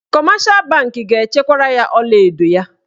Kọmeshal bankị ga-echekwara ya ọlaedo ya.